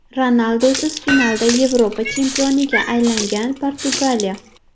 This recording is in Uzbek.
Ronaldusiz finalda Yevropa chempioniga aylangan Portugaliya.